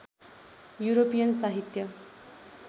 European साहित्य